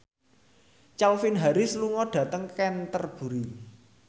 Calvin Harris lunga dhateng Canterbury